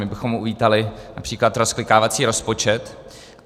My bychom uvítali například rozklikávací rozpočet.